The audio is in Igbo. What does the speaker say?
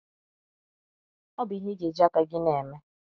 Ọ bụ ihe ị ga - eji aka gị na - eme.